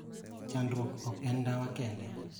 Chandruok ok en ndawa kende.